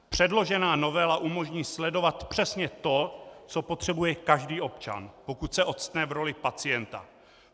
Předložená novela umožní sledovat přesně to, co potřebuje každý občan, pokud se octne v roli pacienta.